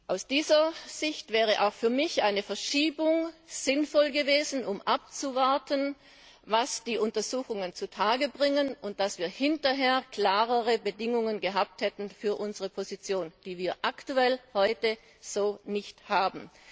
Aus dieser Sicht wäre auch für mich eine Verschiebung sinnvoll gewesen, um abzuwarten, was die Untersuchungen zu Tage bringen, und damit wir hinterher klarere Bedingungen für unsere Position hätten, die wir aktuell heute so nicht haben.